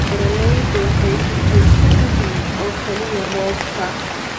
Beeraleydu waxay ku tiirsan yihiin oo kaliya roobka.